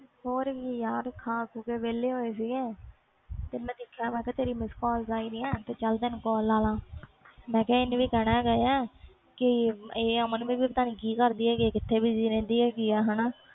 ਹੋਰ ਕਿ ਖਾ ਖੋ ਕੇ ਵੇਹਲੇ ਹੋਏ ਆ ਤੇ ਮੈਂ ਦੇਖਿਆ ਤੇਰੀ ਮਿਸ ਕਾਲ ਆਈ ਆ ਚਲ ਤੈਨੂੰ ਕਾਲ ਲਾ ਲਾ ਮੈਂ ਕਿਹਾ ਇੰਨੇ ਵੀ ਕਹਿਣਾ ਹੈ ਗਿਆ ਕਿ ਅਮਨ ਵੀ ਕਿ ਕਰਦੀ ਹੈ ਗੀ busy ਰਹਿਣ ਦੀ ਹੈ ਗਈ